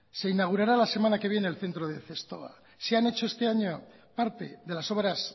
se inaugurará la semana que viene el centro de zestoa se han hecho este año parte de las obras